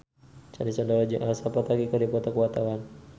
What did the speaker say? Sandy Sandoro jeung Elsa Pataky keur dipoto ku wartawan